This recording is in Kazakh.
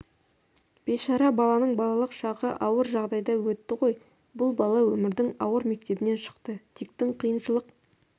бейшара баланың балалық шағы ауыр жағдайда өтті ғой бұл бала өмірдің ауыр мектебінен шықты диктің қиыншылық